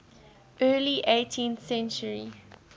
early eighteenth century